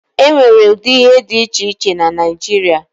E nwere ụdị ihe dị iche iche na Naijiria.